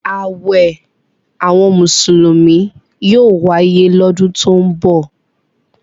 Àwẹ̀ àwọn Mùsùlùmí yóò wáyé lọ́dún tó ń bọ̀.